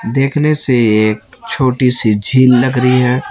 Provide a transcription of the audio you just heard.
देखने से एक छोटी सी झील लग रही है।